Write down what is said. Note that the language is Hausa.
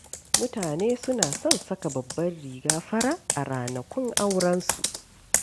Mutane suna son saka babbar riga fara a ranakun aurensu.